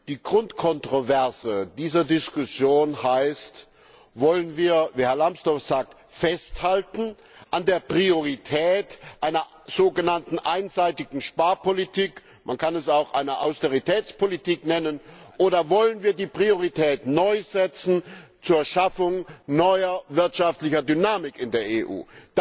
Die Grundkontroverse dieser Diskussion heißt Wollen wir wie Herr Lambsdorff sagt festhalten an der Priorität einer sogenannten einseitigen Sparpolitik man kann es auch eine Austeritätspolitik nennen oder wollen wir die Priorität neu setzen zur Schaffung neuer wirtschaftlicher Dynamik in der EU?